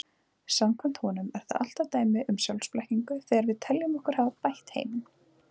Samkvæmt honum er það alltaf dæmi um sjálfsblekkingu þegar við teljum okkur hafa bætt heiminn.